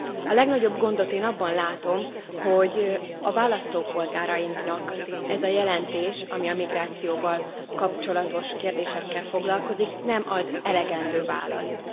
A legnagyobb gondot én abban látom, hogy a választópolgárainknak ez a jelentés, ami a migrációval kapcsolatos kérdésekkel foglalkozik, nem ad elegendő választ.